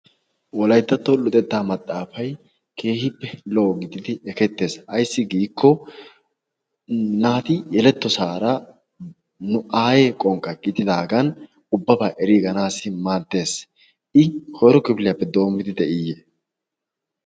wolaittatto lutettaa maxaafai keehippe loogididi ekettees aissi giikko naati yeletto saara nu aaye qonqqa gididaagan ubbabaa eriiganaasi maaddees i koiro kifiliyaappe doommidi de'iyye?